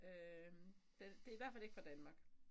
Øh den det i hvert fald ikke fra Danmark